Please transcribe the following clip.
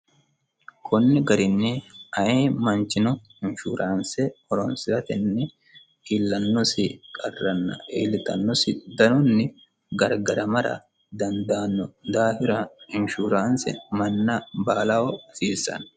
konni garinni ayi manchino inshuraanse, horonsiratenni iillannosi qarranna iilitannosi danonni gargaramara danddaanno daafira inshuraanse manna baalaho hasiissanno